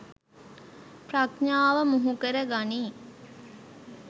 ප්‍රඥාව මුහුකර ගනියි.